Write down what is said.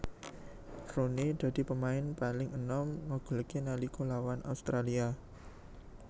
Rooney dadi pemain paling enom ngegolkè nalika lawan Australia